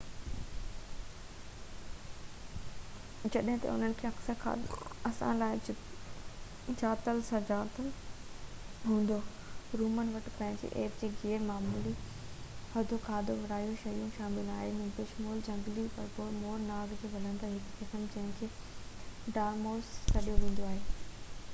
جڏجهن ته انهن جو اڪثر کاڌو اسان لاءِ ڄاتل سڃاتل هوندو رومن وٽ پنهنجي عجيب يا غير معمولي عمدو کاڌي واريون شيون شامل آهن بشمول جهنگلي ٻرڙو مور نانگ ۽ ٻلندڙ جو هڪ قسم جنهنکي ڊارمائوس سڏيو ويندو آهي